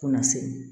Fo na se